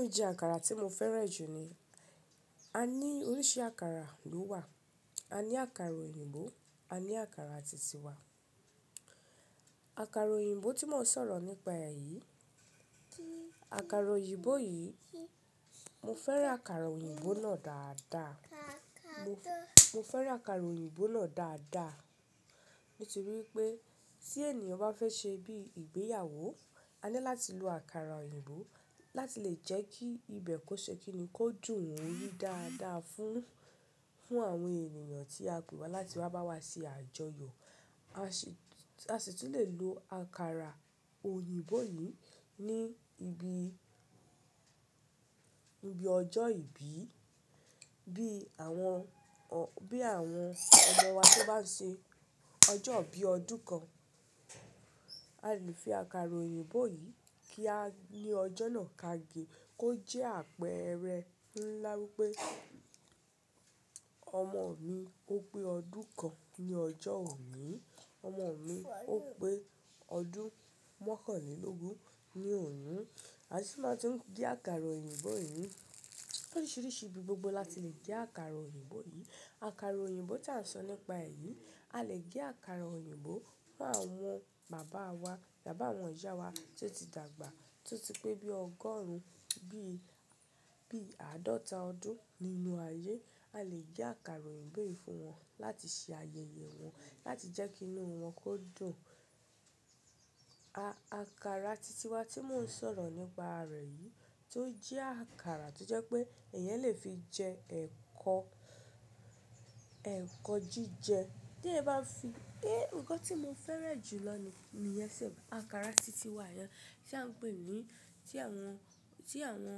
Ó jẹ́ àkàrà tí mo fẹ́ràn jù ni. A ní oríṣi àkàrà ló wà. A ní àkàrà òyìnbó, a ní àkàrà titiwa. Àkàrà òyìnbó tí mò ń sọ̀rọ̀ nípa re yí, àkàrà òyìnbó yìí, mo fẹ́ràn àkàrà òyìnbó náà dáadáa. Mo fẹ́ràn àkàrà òyìnbó náà dáadáa. Ní ti rí i pé tí ènìyàn bá fẹ́ ṣe bí i ìgbéyàwó, a ní láti lo àkàrà òyìnbó láti lè jẹ́ kí ibẹ̀ kó ṣe kíni kó dùn rii dáadáa fún, fún àwọn ènìyàn tí a pèwà láti wá bá wa ṣe àjọyọ̀. A sì, a sì tún lè lo àkàrà òyìnbó yìí ní ibi, ibi ọjọ́ ìbí, bí àwọn, bí àwọn ọmọ wa tí ó bá ṣe ọjọ́ bíi ọdún kan. A lè fi àkàrà òyìnbó yìí kí a ní ọjọ́ náà ká ge, kó jẹ́ àpẹẹrẹ ńlá wípé ọmọ mi ó pé ọdún kan ní ọjọ́ òní, ọmọ mi ó pé ọdún mọ́kànlélógún ní òní. A sì máa tún gé àkàrà òyìnbó yìí. Lóríṣiríṣi ibi gbogbo la ti lè gé akàrà òyìnbó yìí. Àkàrà òyìnbó tí à ń sọ nípa rè yí, a lè gé àkàrà òyìnbó fún àwọn bàbá wa, tabi àwọn ìyá wa tí ó ti dàgbà, tí ó ti pé bí i ọgọ́rùn-ún, bí i, bí i àádọ́ta ọdún nínú ayé. A lè gé àkàrà òyìnbó yìí fún wọn láti ṣe ayẹyẹ wọn, láti jẹ́ kí inú wọn kó dùn. Àkàrà titiwa tí mò ń sọ̀rọ̀ nípa rẹ̀ yìí, tó jẹ́ àkàrà tó jẹ́ pé ẹ̀eyàn lè fi jẹ ẹ̀kọ, ẹ̀kọ jíjẹ. Tí èeyan bá fi, é, nǹkan tí mo fẹ́ràn jù lọ ní, niyen so, àkàrà titiwa yẹn tí à ń pè ní, tí àwọn, tí àwọn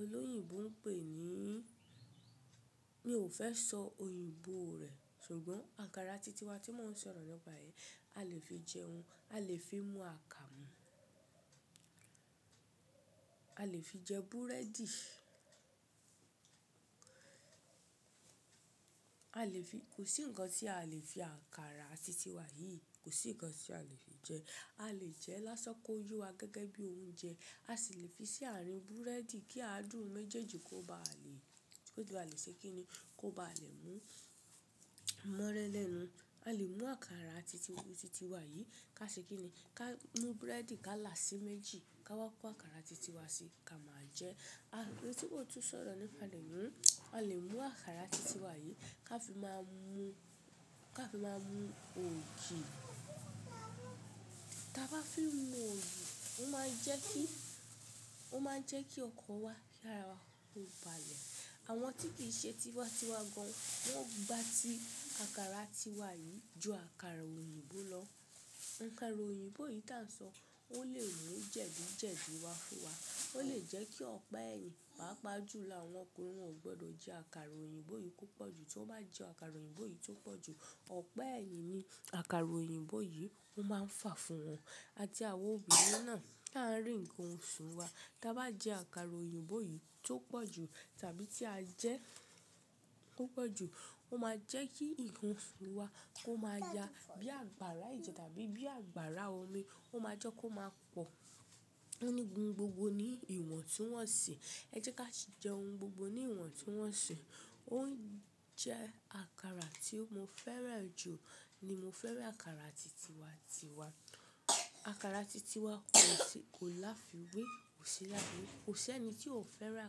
olóyìnbó ń pè ní, mi ò fẹ́ sọ òyìnbó rẹ̀. Ṣùgbọ́n àkàrà titiwa tí mò ń sọ̀rọ̀ nípa rẹ̀ yìí, a lè fi jẹun, a lè fi mú àkàmú, a lè fi jẹ búrẹ́dì. A lè fi, kò sí ǹkan tí a lè fi àkàrà titiwa yìí, kò sí ǹkan tí a lè fi jẹ. A lè jẹ ẹ́ lásán ko yó wa gẹ́gẹ́ bí i oúnjẹ. A sì lè fi sí àárín búrẹ́dì kí aadùn méjèèjì kó ba lè, kó ba lè ṣe kíni, kó ba lè mú mọ́rẹ́ lẹ́nu. A lè mú àkàrà titiwa yìí ká ṣe kíni, ká mú búrẹ́dì ká là sí méjì, ká wá kó àkàrà titiwa sí, ká máa jẹ ẹ́. Oun tí mò ń tún sọ̀rọ̀ nípe, a lè mú, a lè mú àkàrà titiwa yìí ká fi máa mú, ká fi máa mú ògì. Tí a bá fi mú ògì, ó máa ń jẹ́ kí, ó máa ń jẹ́ kí ọkan wa, kì ara wa kó ba lè. Àwọn tí kì í ṣe tìwàtíwa gan, wọ́n gba ti àkàrà tiwa yìí ju àkàrà òyìnbó lọ. Àkàrà òyìnbó yìí tí à ń sọ, ó lè mú jẹ̀di jẹ̀di wá fún wa. Ó lè jẹ́ kí ọ̀pa ẹyin, pàápàá jùlo àwọn ọkùnrin, wọ́n o gbọdọ̀ jẹ àkàrà òyìnbó yìí púpọ̀ jù. Tí wọ́n bá jẹ àkàrà òyìnbó yìí tó pọ̀ jù, ọ̀pa ẹyin ni àkàrà òyìnbó yìí ó máa ń fà fún wọn. Àti àwa obìnrin náà tí à ń rí ǹkan oṣù wa, tí a bá jẹ àkàrà òyìnbó yìí tó pọ̀ jù tàbí tí a jẹ́ tó pọ̀ jù, ó máa jẹ́ kí nkan oṣù wa kó máa ya bí i àgbàrá èjẹ tàbí bí i àgbàrá omi. Ó máa jọ́ kó máa pọ̀. Ó ní oun gbogbo ní ìwọ̀n tí wọ́n ṣe. Ẹ jẹ́ ká sì jẹ oúnjẹ gbogbo ní ìwọ̀ntun wọ́nṣi. Ó jẹ́ àkàrà tí mo fẹ́ràn jù ni mo fẹ́ràn àkàrà titiwa tìwa. Àkàrà titiwa kò sí, kò láfiwé, kò sí láfiwé. Kò sí ẹni tí ò fẹ́ràn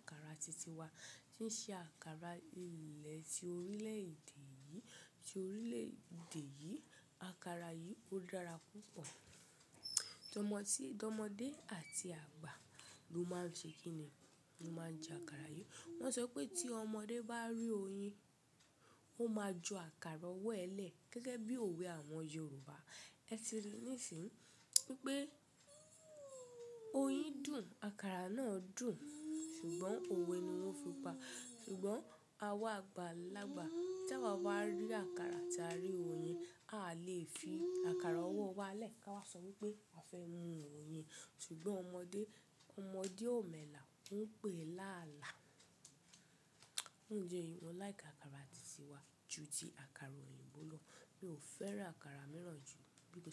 àkàrà titiwa tí ń ṣe àkàrà ilẹ̀ ti orílẹ̀ èdè yìí, ti orílẹ̀ èdè yìí. Àkàrà yìí ó dára púpọ̀. Ọmọ tí, ọmọdé àti àgbà ló máa ń ṣe kíni, ló máa ń jẹ àkàrà yìí. Wọ́n sọ pé tí ọmọdé bá rí oyin, ó máa ju àkàrà ọwọ́ ẹ lẹ̀ gẹ́gẹ́ bí òwe àwọn Yorùbá. Ẹ ti ri níìsín pé oyin dùn, àkàrà náà dùn, ṣùgbọ́n òwe ni wọ́n fi pa. Ṣùgbọ́n àwa àgbàlagbà tí àwa bá rí àkàrà tí a rí oyin, a lè fi àkàrà ọwọ́ wa lẹ̀ ká wá sọ wípé a fẹ́ mú oyin. Ṣùgbọ́n ọmọdé, ọmọdé ò mọ̀ ẹlà, ó ń pè láàlá. Fun idi eyi mo laiki àkàrà titiwa ju ti àkàrà òyìnbó lọ. Mi ò fẹ́ràn àkàrà mìíràn jù bí i kò sí.